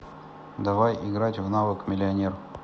давай играть в навык миллионер